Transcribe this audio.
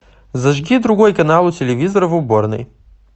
зажги другой канал у телевизора в уборной